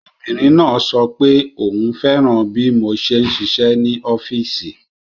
Obìnrin náà sọ pé òun fẹ́ràn bí mo ṣe ń ṣiṣẹ́ ní ọọ́fíìsì